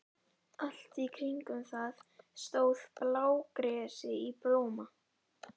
Allt í kringum það stóð blágresi í blóma.